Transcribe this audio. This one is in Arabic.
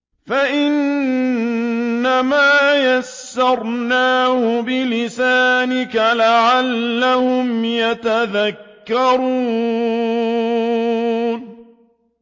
فَإِنَّمَا يَسَّرْنَاهُ بِلِسَانِكَ لَعَلَّهُمْ يَتَذَكَّرُونَ